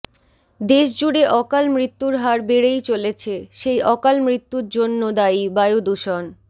দেশজুড়ে অকাল মৃত্যুর হার বেড়েই চলেছে সেই অকাল মৃত্যুর জন্য দায়ী বায়ুদূষণ